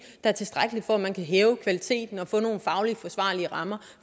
er tilstrækkelig for at man kan hæve kvaliteten og få nogle fagligt forsvarlige rammer